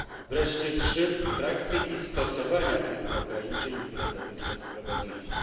3. praktyki stosowania tych ograniczeń, które dotychczas prowadziliśmy.